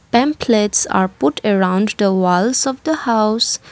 Pamphlets are put around the walls of the house.